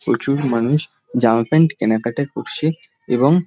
প্রচুর মানুষ জামা প্যান্ট কেনাকাটা করছে এবং--